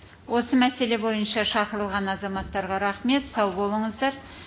осы мәселе бойынша шақырылған азаматтарға рахмет сау болыңыздар